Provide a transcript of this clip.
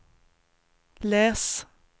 läs